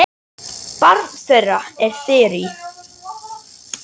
Barn þeirra er Þyrí.